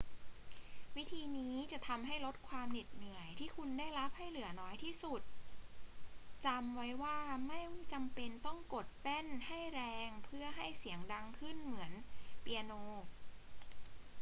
วิธีนี้จะทำให้ลดความเหน็ดเหนื่อยที่คุณได้รับให้เหลือน้อยที่สุด จำไว้ว่าไม่จำเป็นต้องกดแป้นให้แรงเพื่อให้เสียงดังขึ้นเหมือนเปียโน